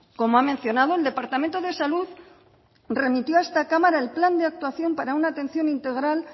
como ha mencionado el departamento de salud remitió a esta cámara el plan de actuación para una atención integral